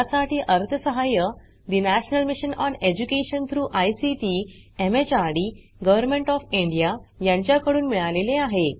यासाठी अर्थसहाय्य national mission on education through ICT MHRD government of India यांच्याकडून मिळालेले आहे